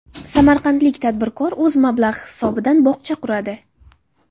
Samarqandlik tadbirkor o‘z mablag‘i hisobidan bog‘cha quradi.